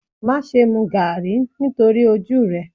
Má ṣe mu Garri nítorí ojú rẹ.